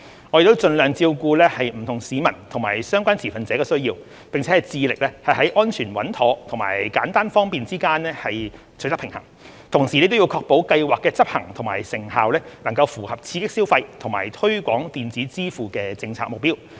我們已盡量照顧不同市民及相關持份者的需要，並致力在安全穩妥及簡單方便之間取得平衡，同時亦要確保計劃的執行和成效能符合刺激消費和推廣電子支付的政策目標。